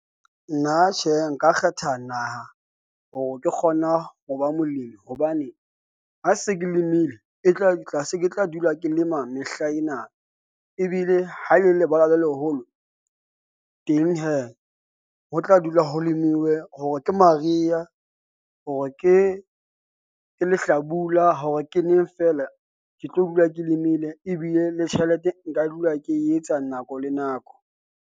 Nna tjhe, nka kgetha naha hore ke kgona ho ba molemi hobane ha se ke limile e tla se ke tla dula ke lema mehlaena. Ebile ha e le lebala le leholo, teng hee, ho tla dula ho lemuwe, hore ke mariha hore ke lehlabula hore ke neng fela. Ke tlo dula ke lemile, ebile le tjhelete nka dula ke etsa nako le nako.